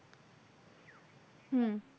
হম